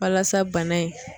Walasa bana in